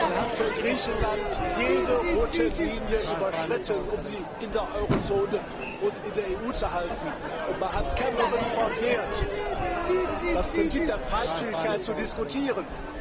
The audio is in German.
Man hat für Griechenland jede rote Linie überschritten, um sie in der Eurozone und in der EU zu halten, und man hat Cameron verwehrt, das Prinzip der Freizügigkeit zu diskutieren.